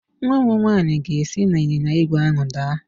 Nwa m nwanyị ga-esi n'ịnyịnya ígwè ahụ daa